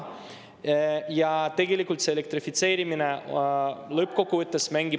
Ja tegelikult see elektrifitseerimine lõppkokkuvõttes mängib …